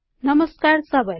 नमस्कार सबैलाई